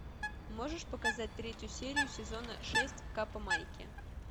можешь показать третью серию сезона шесть каппа майки